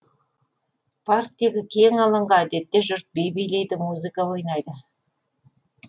парктегі кең алаңға әдетте жұрт би билейді музыка ойнайды